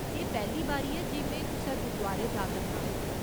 एह् पैह्‌ली बारी ऐ जे में कुसै गुरदुआरै जा करनां।